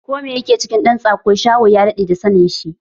Ko mai ya ke cikin ɗan tsako, Shaho ya daɗe da sanin shi.